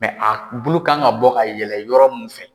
a bulu kan ka bɔ ka yɛlɛ yɔrɔ min fɛ.